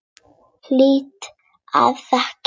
Hlýða og þegja.